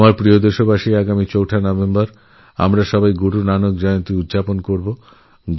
আমার প্রিয়দেশবাসী আগামী ৪ঠা নভেম্বর আমরা গুরু নানকের জন্মজয়ন্তী পালন করবো